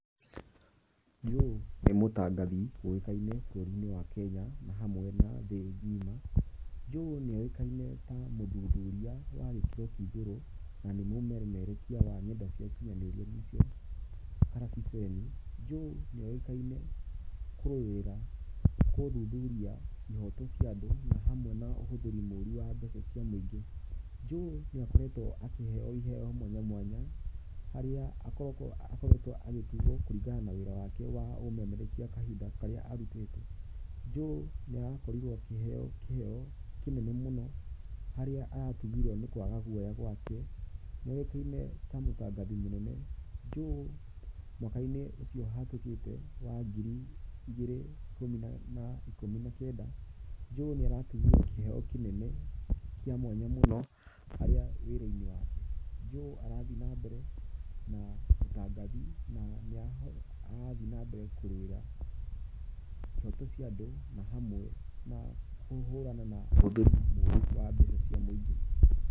Joe nĩ mũtangathi ũĩkaine bũrũri-inĩ wa Kenya, hamwe na thĩ ng'ima. Joe nĩ oĩkaine ta mũthuthuria wa gĩkĩro kĩa igũru, na nĩ mũmemerekia wa nenda cia ũkinyanĩria nĩ cio karabiceni. Joe nĩ oĩkaine kũrũĩrĩra, gũthuthuria ihoto cia andũ, na hamwe na ũhuthĩri mũru wa mbeca cia mũingĩ. Joe nĩ akoretwo akĩheo iheo mwanya mwanya, harĩa akoretwo agĩtugwo kũringana na wĩra wake wa ũmemerekia kahinda karĩa arutĩte. Joe nĩ arakorirwo akĩheo kĩheo kĩnene mũno harĩa aratugirwo nĩ kwaga guoya gwake, nĩ oĩkaine ta mũtangathi mũnene. Joe mwaka-inĩ ũcio ũhĩtũkĩte, wa ngiri igĩri na ikumi na kenda, Joe nĩ aratugirwo na kĩheo kĩnene kĩa mwanya mũno harĩ wĩra-inĩ wake. Joe arathiĩ na mbere na ũtangathi na nĩ arathiĩ na mbere kũrũĩra ihoto cia andũ, na hamwe na kũhurana na ũhũthĩri mũru wa mbeca cia mũingĩ.